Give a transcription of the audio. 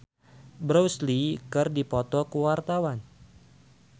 Nadya Hutagalung jeung Bruce Lee keur dipoto ku wartawan